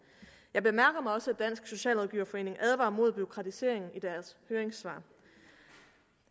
jeg bemærker mig også at dansk socialrådgiverforening advarer mod bureaukratisering i deres høringssvar